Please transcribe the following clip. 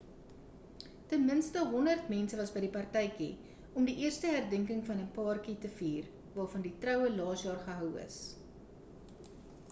ten minste 100 mense was by die partytjie om die eerste herdenking van 'n paartjie te vier waarvan die troue laas jaar gehou is